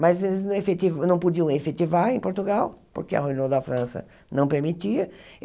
Mas eles não efetiva, não podiam efetivar em Portugal, porque a Renault da França não permitia.